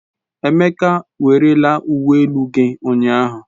Emeka werele uwe elu gi ụnyahụ.